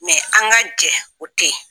Mɛ an ka jɛ o tɛ yen!